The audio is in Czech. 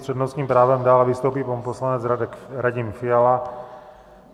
S přednostním právem dále vystoupí pan poslanec Radim Fiala.